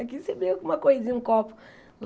Aqui você briga com uma coisinha, um copo.